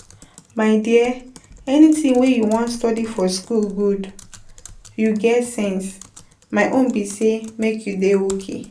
My dear, anything wey you wan study for school good, you get sense. My own be make you dey okay.